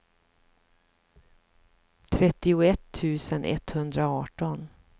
trettioett tusen etthundraarton